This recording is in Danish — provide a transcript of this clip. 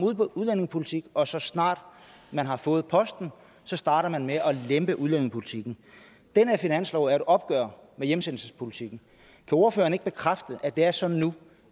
udlændingepolitik og så snart man har fået posten starter med at lempe udlændingepolitikken den her finanslov er jo et opgør med hjemsendelsespolitikken kan ordføreren ikke bekræfte at det er sådan nu